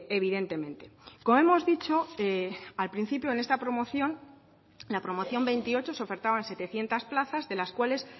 evidentemente como hemos dicho al principio en esta promoción la promoción veintiocho se ofertaban setecientos plazas de las cuales